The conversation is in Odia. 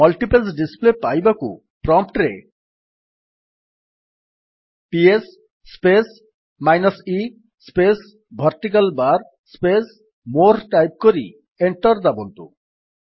ମଲ୍ଟିପେଜ୍ ଡିସ୍ପ୍ଲେ ପାଇବାକୁ ପ୍ରମ୍ପ୍ଟ୍ ରେ PS space minus e space vertical bar space more type କରି ଏଣ୍ଟର୍ ଦାବନ୍ତୁ